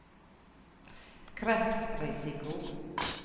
kreftrisiko